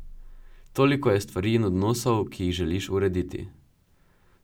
Toliko je stvari in odnosov, ki jih želiš urediti.